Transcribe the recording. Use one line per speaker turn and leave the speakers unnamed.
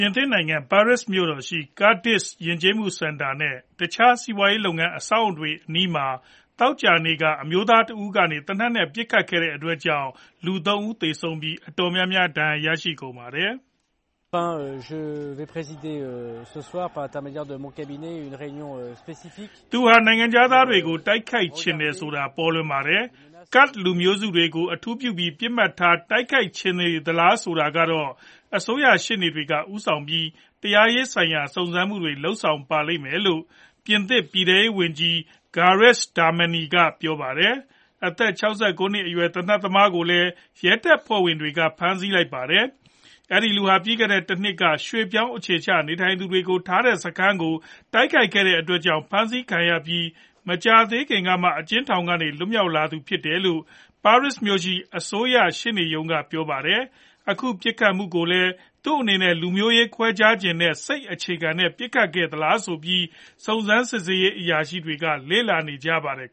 ြင်သစ်နိုင်ငံ ၊ Paris မြို့တော် ရှိ Kurdish ယဉ်ကျေးမှုစင်တာ နဲ့ တခြား စီးပွားရေးလုပ်ငန်း အဆောက်အဦတွေ အနီးမှာ သောကြာနေ့မှာ အမျိုးသားတဦးကနေ သေနတ်နဲ့ ပစ်ခတ်ခဲ့တဲ့အတွက်ကြောင့် လူ ၃ ဦးသေဆုံးပြီး အတော်များများ ဒဏ်ရာတွေ ရရှိကုန်ကြပါတယ်။ " သူဟာ နိုင်ငံခြားသားတွေကို တိုက်ခိုက်ချင်နေတယ်ဆိုတာကတော့ ပေါ်လွင်ပါတယ်။ Kurds လူမျိုးတွေကို အထူးပြုပြီး ပစ်မှတ်ထား တိုက်ခိုက်ချင်နေသလားဆိုတာဆိုတာကတော့ အစိုးရရှေ့နေ က ဦးဆောင်ပြီး တရားရေးဆိုင်ရာ စုံစမ်းမှုတွေကို လုပ်ဆောင်ပါလိမ့်မယ် " လို့ ပြင်သစ် ပြည်ထဲရေးဝန်ကြီး Gerald Darmanin က ပြောပါတယ်။ အသက် ၆၉ နှစ်အရွယ်ရှိ သေနတ်သမားကိုလည်း ရဲတပ်ဖွဲ့ဝင်တွေက ဖမ်းဆီးလိုက်ပါတယ်။ အဲဒီ လူဟာ ပြီးခဲ့တဲ့ တနှစ်ကလည်း ရွှေ့ပြောင်းအခြေချနေထိုင်သူတွေကို ထားတဲ့စခန်းတခုကို တိုက်ခိုက်ခဲ့တဲ့အတွက်ကြောင့် ဖမ်းဆီးခံခဲ့ရပြီး မကြာသေးခင်ကမှ အကျဉ်းထောင်ကနေ လွတ်မြောက်လာသူဖြစ်တယ်လို့ Paris မြို့ရှိ အစိုးရ ရှေ့နေရုံးက ပြောပါတယ်။ အခုပစ်ခတ်ခဲ့မှုကိုလည်း သူအနေနဲ့ လူမျိုးရေး ခွဲခြားတဲ့ စိတ်အခြေခံနဲ့ ပစ်ခတ်ခဲ့သလား ဆိုပြီး စုံစမ်းစစ်ဆေးရေး အရာရှိတွေက စဉ်စားနေကြပါတယ်။